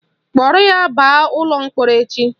Kpọrọ ya baa ụlọ mkpọrọ echi!